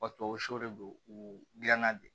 Wa tubabu su de don u dilanna de